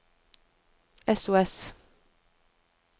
sos